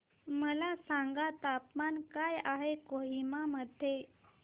मला सांगा तापमान काय आहे कोहिमा मध्ये